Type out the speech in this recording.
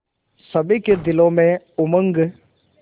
सभी के दिलों में उमंग